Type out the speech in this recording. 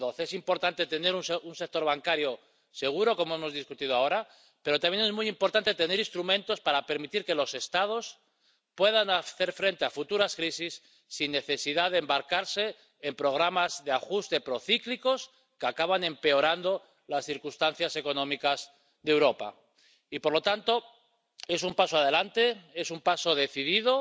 1012. Es importante tener un sector bancario seguro, como hemos debatido ahora, pero también es muy importante tener instrumentos para permitir que los Estados puedan hacer frente a futuras crisis sin necesidad de embarcarse en programas de ajuste procíclicos que acaban empeorando las circunstancias económicas de Europa. Y, por lo tanto, es un paso adelante, es un paso decidido,